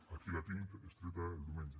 aquí la tinc és treta del diumenge